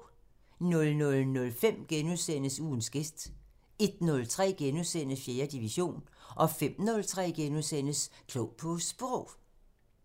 00:05: Ugens gæst * 01:03: 4. division * 05:03: Klog på Sprog *